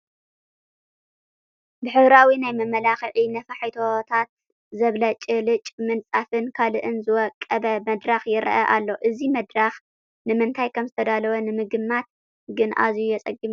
ብሕብራዊ ናይ መመላክዒ ነፋሒቶታት ዘብለጭልጭ ምንፃፍን ካልእን ዝወቀበ መድረኽ ይርአ ኣሎ፡፡ እዚ መድረኽ ንምንታይ ከምዝተደላወ ንምግማት ግን ኣዝዩ የፅግም እዩ፡፡